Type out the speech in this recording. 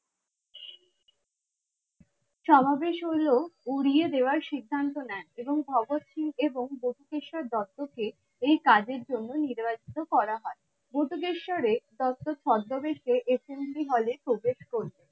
সমাবেশ হলো উড়িয়ে দেওয়ার সিদ্ধান্ত নেন এবং ভগৎ সিং এবং ভূতকেস্বর দত্ত কে এই কাজের জন্য নির্বাচিত করা হয় ভুতোকেস্বর এর তথ্য ছদ্দবেশে একটি নিধি হলে প্রবেশ করলো